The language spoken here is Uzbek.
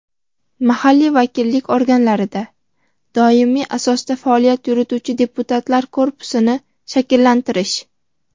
mahalliy vakillik organlarida doimiy asosda faoliyat yurituvchi deputatlar korpusini shakllantirish;.